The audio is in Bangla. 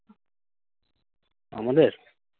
আমাদের?